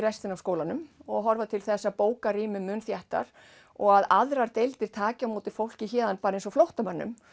skólanum og horfa til þess að bóka rými þéttar og að aðrar deildir taki á móti fólki héðan eins og flóttamönnum